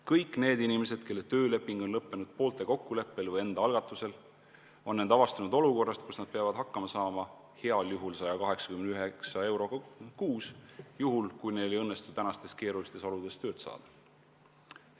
Kõik need inimesed, kelle tööleping on lõppenud poolte kokkuleppel või enda algatusel, on end avastanud olukorrast, kus nad peavad hakkama saama heal juhul 189 euroga kuus, juhul kui neil ei õnnestu tänastes keerulistes oludes tööd saada.